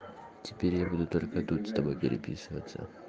теперь я буду только тут с тобой переписываться